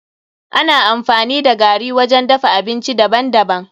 Ana amfani da gari wajen dafa abinci daban daban.